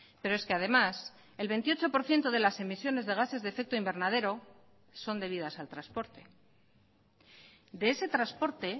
pero es que además el veintiocho por ciento de las emisiones de gases de efecto invernadero son debidas al transporte de ese transporte